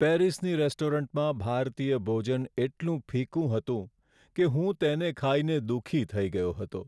પેરિસની રેસ્ટોરન્ટમાં ભારતીય ભોજન એટલું ફિક્કું હતું કે હું તેને ખાઈને દુઃખી થઈ ગયો હતો.